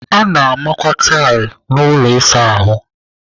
A na-amakwa tailu n'ụlọ ịsa ahụ.